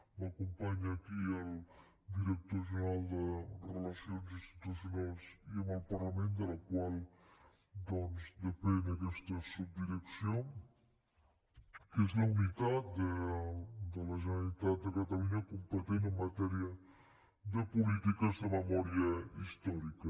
m’acompanya aquí el director general de relacions institucionals i amb el parlament de la qual doncs depèn aquesta subdirecció que és la unitat de la generalitat de catalunya competent en matèria de polítiques de memòria històrica